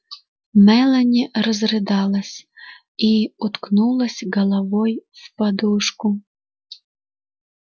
мелани разрыдалась и уткнулась головой в подушку